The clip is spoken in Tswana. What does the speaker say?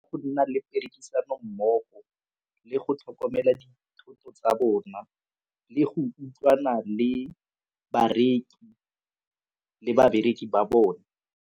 Go nna le perekisano mmogo le go tlhokomela dithoto tsa bona le go utlwana le bareki le babereki ba bone.